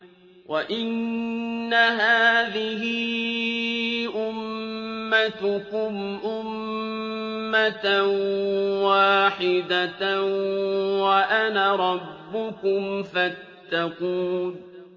وَإِنَّ هَٰذِهِ أُمَّتُكُمْ أُمَّةً وَاحِدَةً وَأَنَا رَبُّكُمْ فَاتَّقُونِ